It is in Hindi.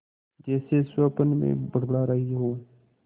जैसे स्वप्न में बड़बड़ा रही हो